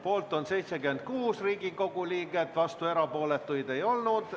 Poolt on 76 Riigikogu liiget, vastuolijaid ega erapooletuid ei olnud.